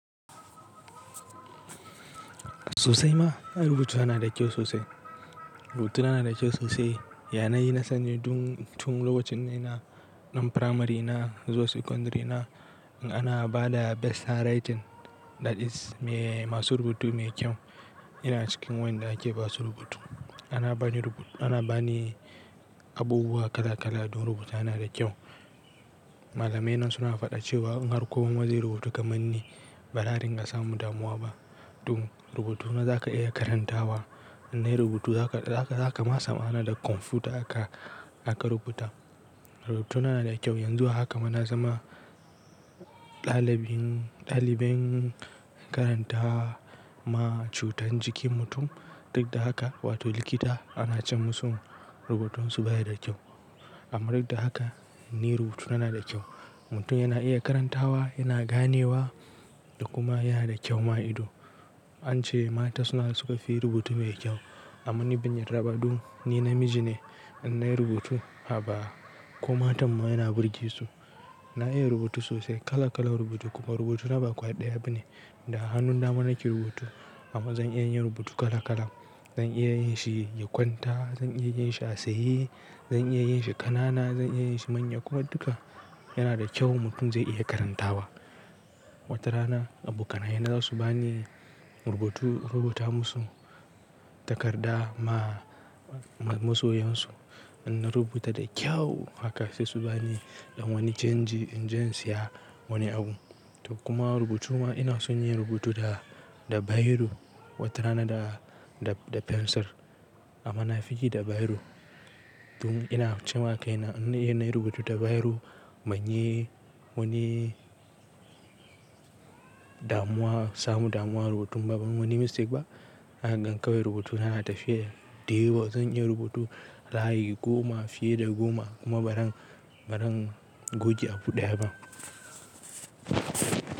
Sosai ma, rubutuna na da kyau sosai. Rubutuna na da kyau sosai, yana yi nasani dun tun lokacin ina ɗan primary na zuwa secondary na. In ana ba da best handwriting that is masu rubutu mai kyau, ina cikin wanda ake ba su rubutu. Ana bani rubu-- ana bani abubuwa kala kala don rubutuna na da kyau. Malamai na suna faɗa cewa in har kowa mazai rubutu kamar ni ba da'a dinga samun damuwa ba. Dun rubutu na za ka iya karantawa, in nayi rubutu za ka, za ka, za ka masa mana da kwamfuta aka, aka rubuta. Rubutuna na da kyau, yanzu haka ma na zama ɗalibin, ɗalibin karanta ma cutar jikin mutum. Duk da haka, wato likita ana ce musu rubutunsu baya da kyau. Amma duk da haka ni rubutuna na da kyau. Mutum yana iya karantawa, yana ganewa da kuma yana da kyau ma ido. An ce mata suna suka fi rubutu mai kyau, amma ni bin yardaba dun ni namiji ne in nayi rubutu, haba koma tan mayana burge su. Na iya rubutu sosai, kala kala rubutu kuma rubutu na ba kwaya ɗaya bane. Da hannun da mana ke rubutu amma zan iya yin rubutu kala kala. Zan iya yin shi ya kwanta, zan iya yin shi a tsaye, zan iya yin shi ƙanana, zan iya yin shi manya kuma duka yana da kyau mutum zai iya karantawa. Wata rana abokanai na za su bani rubutu, rubuta musu takarda ma masoyansu. In na rubuta da kyau haka sai su bani ɗanwani canji, inje insiya wani abu. Duk kuma rubutu ma ina son yin rubutu da, da biro wata rana da, da, da fensir amma na fi yi da biro. Tun ina cin wa kai na in nayi rubutu da biro ban yi wani damuwa, samu damuwa rubutun ba, ba wani mistake ba. Haka gankawai rubutuna na tafi ya dayawa. Zan iya rubutu layi goma fiye da goma kuma ba zan, ba zan goge abu ɗaya ba.